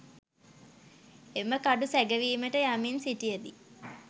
එම කඩු සැඟවීමට යමින් සිටියදී